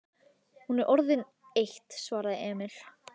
Hún er orðin eitt, svaraði Emil.